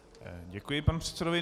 Děkuji panu předsedovi.